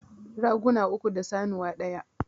Raguna uku da sanuwa ɗaya